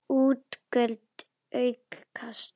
Útgjöld aukast!